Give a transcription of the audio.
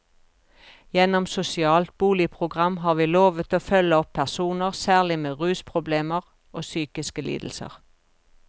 Gjennom sosialt boligprogram har vi lovet å følge opp personer, særlig med rusproblemer og psykiske lidelser.